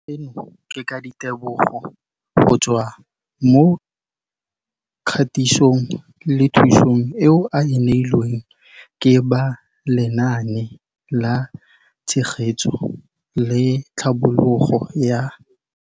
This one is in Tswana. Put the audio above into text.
Seno ke ka ditebogo go tswa mo katisong le thu song eo a e neilweng ke ba Lenaane la Tshegetso le Tlhabololo ya